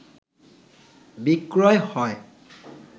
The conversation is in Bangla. বিক্রয় হয়